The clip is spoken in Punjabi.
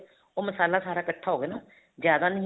ਉਹ ਮਸਾਲਾ ਸਾਰਾ ਇੱਕਠਾ ਹੋਵੇ ਨਾ ਜਿਆਦਾ ਨਹੀਂ